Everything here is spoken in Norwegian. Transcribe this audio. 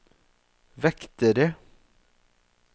vektere